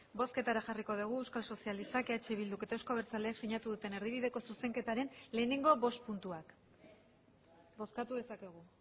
bozketara jarriko dugu euskal sozialistak eh bilduk eta euzko abertzaleak sinatu duten erdibideko zuzenketaren lehenengo bost puntuak bozkatu dezakegu